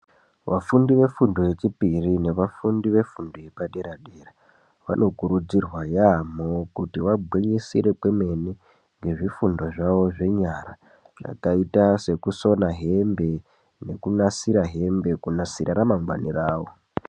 Vafundi vefundo yechipiri nevafundi vefundo yepadera-dera, vanokurudzirwa yaamho kuti vagwinyisire kwemene ngezvifundo zvavo zvenyara. Zvakaita sekusona hembe nekunasira hembe kunasira ramangwani ravo.